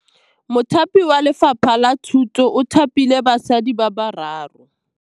Mothapi wa Lefapha la Thutô o thapile basadi ba ba raro.